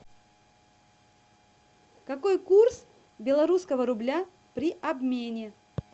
какой курс белорусского рубля при обмене